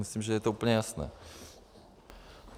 Myslím, že je to úplně jasné.